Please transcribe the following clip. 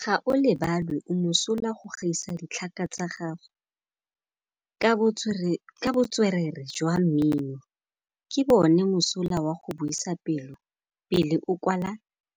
Gaolebalwe o mosola go gaisa dithaka tsa gagwe ka botswerere jwa mmino. Ke bone mosola wa go buisa pele o kwala